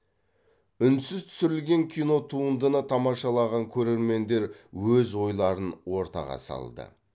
үнсіз түсірілген кинотуындыны тамашалаған көрермендер өз ойларын ортаға салды